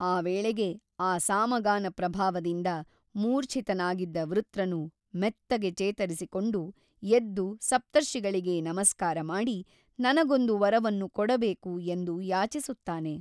ಆ ವೇಳೆಗೆ ಅ ಸಾಮಗಾನಪ್ರಭಾವದಿಂದ ಮೂರ್ಛಿತನಾಗಿದ್ದ ವೃತ್ರನು ಮೆತ್ತಗೆ ಚೇತರಿಸಿಕೊಂಡು ಎದ್ದು ಸಪ್ತರ್ಷಿಗಳಿಗೆ ನಮಸ್ಕಾರಮಾಡಿ ನನಗೊಂದು ವರವನ್ನು ಕೊಡಬೇಕು ಎಂದು ಯಾಚಿಸುತ್ತಾನೆ.